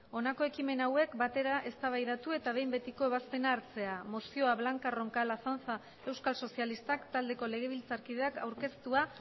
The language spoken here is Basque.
honako ekimen hauek batera eztabaidatu eta behin betiko ebazpena hartzea mozioa blanca roncal azanza euskal sozialistak taldeko legebiltzarkideak aurkeztua